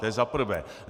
To je za prvé.